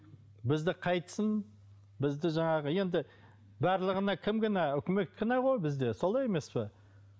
бізді қайтсын бізді жаңағы енді барлығына кім кінә үкімет кінә ғой бізде солай емес пе